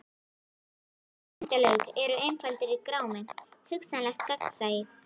Nei endalok eru einfaldur grámi: hugsanlegt gagnsæi.